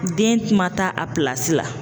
Den man taa a pilasi la.